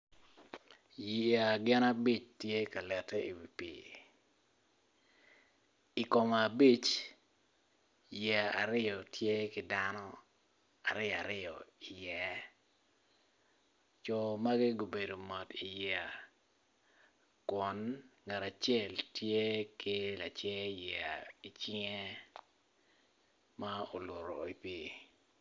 Yeya gin abic tye ka lete iwi pii i kom abic yeya aryo tye ki dano aryo aryo iye co magi gubedo mot iyeya kun ngat acel tye ki lacer yeya i cinge ma oluto i pii.